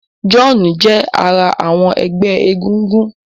John jé ará àwọn egbé egúngún.